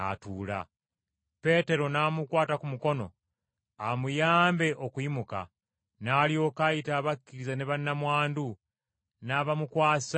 Peetero n’amukwata ku mukono amuyambe okuyimuka, n’alyoka ayita abakkiriza ne bannamwandu, n’abamukwasa nga mulamu.